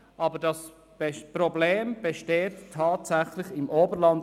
Aber das Problem besteht tatsächlich im Oberland.